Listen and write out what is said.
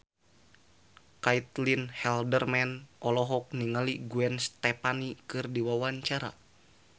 Caitlin Halderman olohok ningali Gwen Stefani keur diwawancara